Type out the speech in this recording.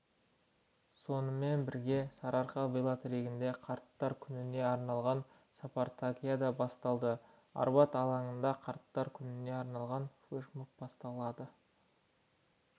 сонымен бірге сарыарқа велотрегінде қарттар күніне арналған спартакиада басталады арбат алаңында қарттар күніне арналған флэш-моб басталады